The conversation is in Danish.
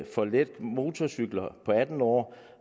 for let motorcykel på atten år